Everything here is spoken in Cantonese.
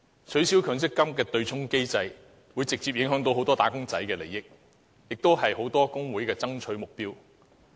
取消強制性公積金的對沖機制，會直接影響很多"打工仔"的利益，而"打工仔"是很多工會的爭取目標。